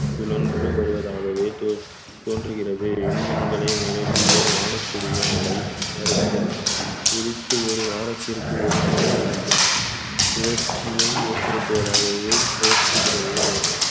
சுழன்று வருவதாகவே தோ~ தோன்றுகிறது விண்மீன்களை நிரம்பிய வானக்கூடிய மழை நேரத்தில் உதித்து ஒரு வாரத்திற்கு ஒருமுறை சுழற்சியை ஏற்படுத்துவதாகவே தோற்றுகிறது